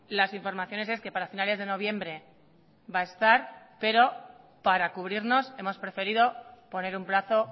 las informaciones es que para finales de noviembre va a estar pero para cubrirnos hemos preferido poner un plazo